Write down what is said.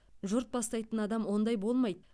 жұрт бастайтын адам ондай болмайды